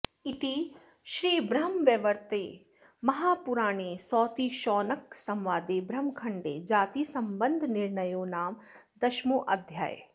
इति श्रीब्रह्मवैवर्ते महापुराणे सौतिशौनकसंवादे ब्रह्मखण्डे जातिसंबन्धनिर्णयो नाम् दशमोऽध्यायः